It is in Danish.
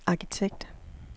arkitekt